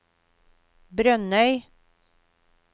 Brønnøy